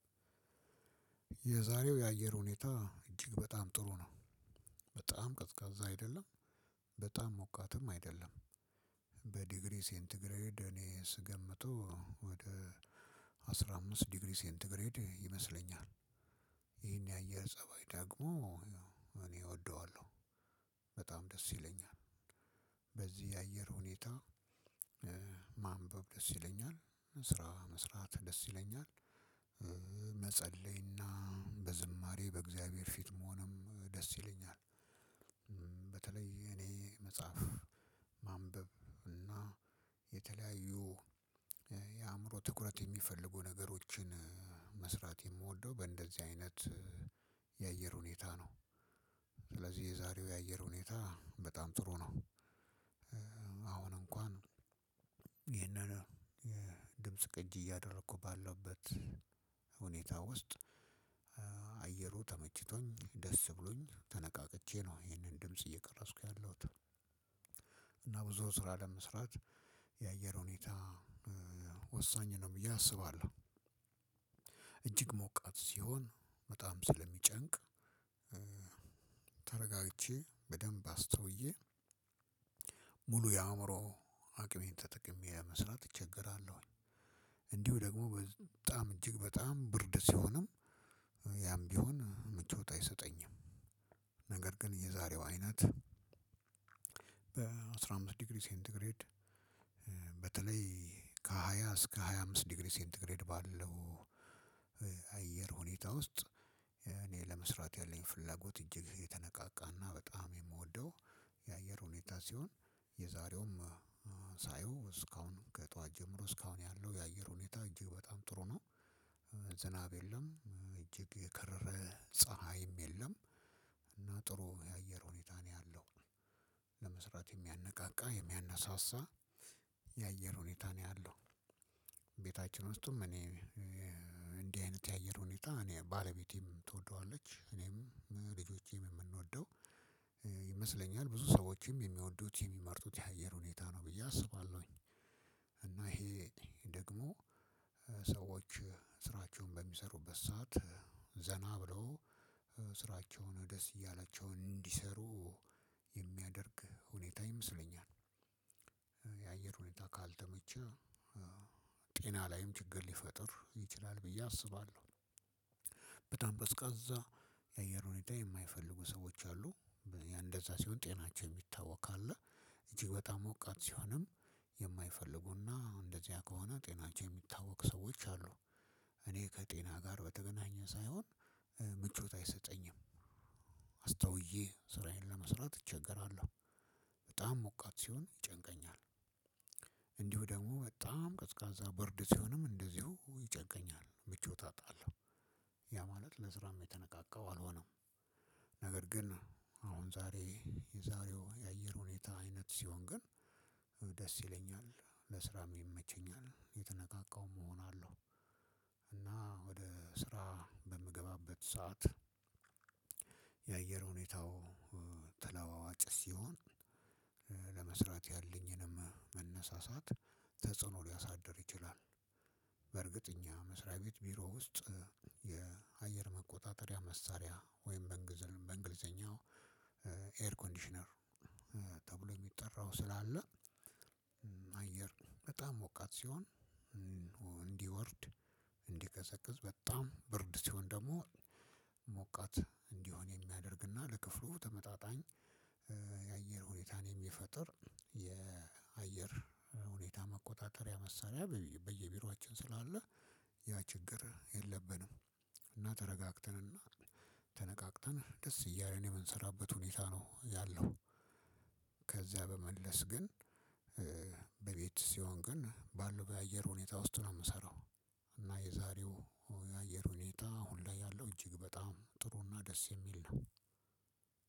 የዛሬው የአየር ሁኔታ እጅግ በጣም ጥሩ ነው። በጣም ቀዝቃዛ አይደለም። በጣም ሞቃትም አይደለም። በዲግሪ ሴንት ግሬድ እኔ ስገምተው ወደ አስራ አምስት ዲግሪ ሴንት ግሬድ ይመስለኛል። ይሄን የአየር ፀባይ ደግሞ እኔ እወደዋለሁ። በጣም ደስ ይለኛል። በዚህ የአየር ሁኔታ እ ማንበብ ደስ ይለኛል ስራ መስራት ደስ ይለኛል። እ መጸለይና በዝማሬ በእግዚአብሔር ፊት መሆንም ደስ ይለኛል። በተለይ እኔ መጽሐፍ ማንበብ እና የተለያዩ እ የአእምሮ ትኩረት የሚፈልጉ ነገሮችን መስራት የምወደው በእንደዚህ አይነት የአየር ሁኔታ ነው። ስለዚህ የዛሬው የአየር ሁኔታ በጣም ጥሩ ነው። እ አሁን እንኳን ይሄንን የድምጽ ቅጅ እያደረኩ ባለውበት ሁኔታ ውስጥ እ አየሩ ተመችቶኝ ደስ ብሎኝ ተነቃቅቼ ነው ይሄንን ድምጽ እየቀረጽኩ ያለሁት። እና ብዙ ስራ ለመስራት የአየር ሁኔታ እ ወሳኝ ነው ብዬ አስባለሁ። እጅግ ሞቃት ሲሆን በጣም ስለሚጨንቅ እ ተረጋግቼ በደንብ አስተውዬ ሙሉ የአእምሮ አቅሜን ተጠቅሜ መስራት እቸገራለሁኝ። እንዲሁ ደግሞ በጣም እጅግ በጣም ብርድ ሲሆንም ያም ቢሆን ምቾት አይሰጠኝም። ነገር ግን የዛሬው አይነት በአስራ አምስት ዲግሪ ሴንት ግሬድ እ በተለይ ከሃያ እስከ ሃያ አምስት ዲግሪ ሴንት ግሬድ ባለው እ አየር ሁኔታ ውስጥ ያኔ ለመስራት ያለኝ ፍላጎት እጅግ የተነቃቃ እና በጣም የምወደው። የአየር ሁኔታ ሲሆን የዛሬውም እ ሳየው ከጥዋት ጀምሮ እስካሁን ያለው የአየር ሁኔታ እጅግ በጣም ጥሩ ነው። ዝናብ የለም እ እጅግ የከረረ ፀሀይም የለም። እና ጥሩ የአየር ሁኔታ ነው ያለው። ለመስራት የሚያነቃቃ የሚያነሳሳ የአየር ሁኔታ ነው ያለው። ቤታችን ውስጥም እኔ እ እንዲህ አይነት የአየር ሁኔታ እኔ ባለቤቴም ትወደዋለች እኔም ልጆቼም የምንወደው እ ይመስለኛል ብዙ ሰዎችም የሚወዱት የሚመርጡት የአየር ሁኔታ ነው ብዬ አስባለሁኝ። እና ይሄ ደግሞ እ ሰዎች ስራቸውን በሚሰሩበት ሰዓት ዘና ብለው ስራቸውን ደስ እያላቸው እንዲሰሩ የሚያደርግ ሁኔታ ይመስለኛል። የአየር ሁኔታ ካልተመቸ እ ጤና ላይም ችግር ሊፈጥር ይችላል ብዬ አስባለሁ። በጣም ቀዝቃዛ የአየር ሁኔታ የማይፈልጉ ሰዎች አሉ። እንደዛ ሲሆን ጤናቸው የሚታወክ አለ። እጅግ በጣም ሞቃት ሲሆንም የማይፈልጉና እንደዚያ ከሆነ ጤናቸው የሚታወክ ሰዎች አሉ። እኔ ከጤና ጋር በተገናኘ ሳይሆን እ ምቾት አይሰጠኝም። አስተውዬ ስራዬን ለመስራት እቸገራለሁ። በጣም ሞቃት ሲሆን ይጨንቀኛል። እንዲሁ ደግሞ በጣም ቀዝቃዛ ብርድ ሲሆንም እንደዚሁ ይጨንቀኛል ምቾት አጣለሁ። ያ ማለት ለስራም የተነቃቃው አልሆንም። ነገር ግን አሁን ዛሬ የዛሬው የአየር ሁኔታ አይነት ሲሆን ግን እ ደስ ይለኛል ለስራም ይመቸኛል የተነቃቃውም እሆናለሁ። እና ወደ ስራ በምገባበት ሰዓት የአየር ሁኔታው እ ተለዋዋጭ ሲሆን እ ለመስራት ያለኝንም መነሳሳት ተጽዕኖ ሊያሳድር ይችላል። በርግጥ እኛ መስሪያ ቤት ቢሮ ውስጥ እ የአየር መቆጣጠሪያ መሳሪያ ወይም በእንግሊዘኛ በእንግሊዘኛ ኤር ኮንዲሽነር ተብሎ የሚጠራው ስላለ እ አየር በጣም ሞቃት ሲሆን። እንዲወርድ እንዲቀዘቅዝ በጣም ብርድ ሲሆን ደግሞ ሞቃት እንዲሆን የሚያደርግና ለክፍሉ ተመጣጣኝ እ የአየር ሁኔታን የሚፈጥር የአየር እ ሁኔታ መቆጣጠሪያ መሳሪያ በየቢሮአችን ስላለ። ያ ችግር የለብንም። እና ተረጋግተንና ተነቃቅተን ደስ እያለን የምንሰራበት ሁኔታ ነው ያለው። ከዚያ በመለስ ግን በቤት ሲሆን ግን ባለው በአየር ሁኔታ ውስጥ ነው የምሰራው። እና የዛሬው የአየር ሁኔታ ሁላ ያለው እጅግ በጣም ጥሩና ደስ የሚል ነው።